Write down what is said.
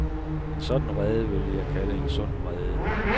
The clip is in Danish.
En sådan vrede ville jeg kalde en sund vrede.